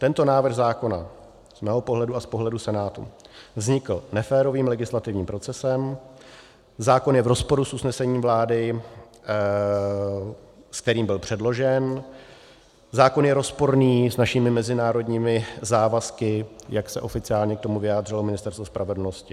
Tento návrh zákona z mého pohledu a z pohledu Senátu vznikl neférovým legislativním procesem, zákon je v rozporu s usnesením vlády, s kterým byl předložen, zákon je rozporný s našimi mezinárodními závazky, jak se oficiálně k tomu vyjádřilo Ministerstvo spravedlnosti.